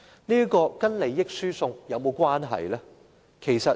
這與利益輸送有甚麼差別？